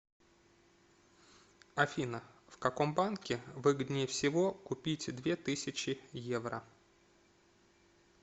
афина в каком банке выгоднее всего купить две тысячи евро